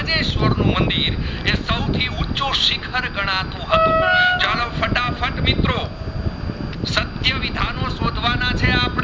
ને સ્વર નું મંદિર એ સાવથી ઊચું સિખર ગણાતું હતું ચાલો ફટાફટ મિત્રો સત્ય વિધાનો સોધવાના છે